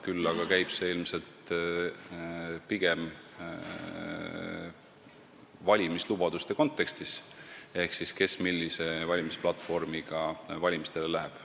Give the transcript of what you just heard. Küll aga käib see pigem valimislubaduste kontekstis ehk kes millise platvormiga valimistele läheb.